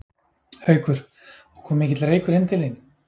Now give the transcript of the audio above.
Haukur: Og kom mikill reykur inn til þín?